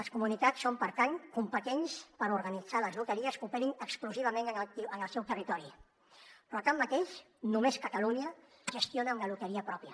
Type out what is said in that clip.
les comunitats són per tant competents per organitzar les loteries que operin exclusivament en el seu territori però tanmateix només catalunya gestiona una loteria pròpia